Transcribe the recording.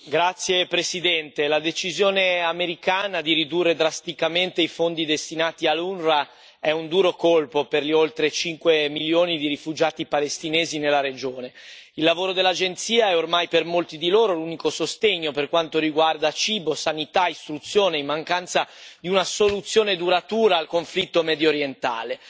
Signor Presidente, onorevoli colleghi, la decisione americana di ridurre drasticamente i fondi destinati all'UNRWA è un duro colpo per gli oltre 5 milioni di rifugiati palestinesi nella regione. Il lavoro dell'Agenzia è ormai per molti di loro l'unico sostegno per quanto riguarda cibo, sanità e istruzione, in mancanza di una soluzione duratura al conflitto mediorientale.